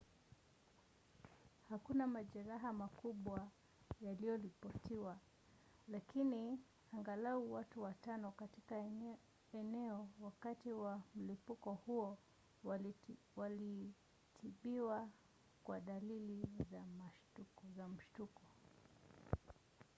hakuna majeraha makubwa yaliyoripotiwa lakini angalau watu watano katika eneo wakati wa mlipuko huo walitibiwa kwa dalili za mshtuko